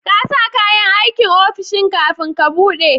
kasa kayan aikin ofishin kafin ka buɗe